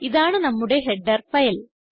ഇതാണ് നമ്മുടെ header file